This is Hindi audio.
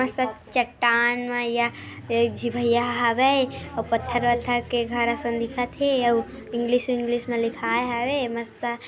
मस्तक चट्टान मैया ये जी भैया हावे पत्थर वथर के घर सन दिखथे अउ इंग्लिश विगलिंश में लिखाये हाबे मस्त--